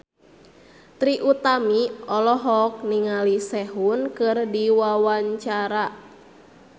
Trie Utami olohok ningali Sehun keur diwawancara